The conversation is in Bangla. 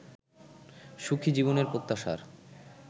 সুখী জীবনের প্রত্যাশার